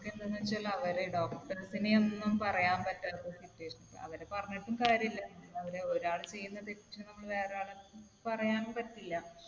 എന്താണെന്ന് വെച്ചാൽ അവരെ doctors നെ ഒന്നും പറയാൻ പറ്റാത്ത situation ആണ്. അവരെ പറഞ്ഞിട്ടും കാര്യമില്ല. ഒരാൾ ചെയ്യുന്ന തെറ്റിന് നമ്മൾ വേറെ ആളെ പറയാൻ പറ്റില്ല.